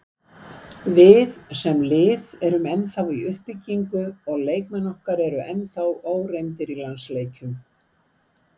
Við, sem lið, erum ennþá í uppbyggingu og leikmenn okkar eru ennþá óreyndir í landsleikjum.